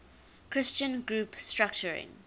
christian group structuring